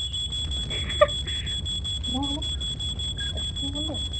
দে অকনমান ice-cream অকনমান দে